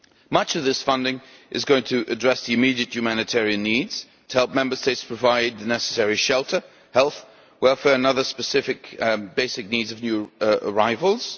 Much of this funding is going to address the immediate humanitarian needs to help Member States provide the necessary shelter, health, welfare and other specific basic needs of new arrivals.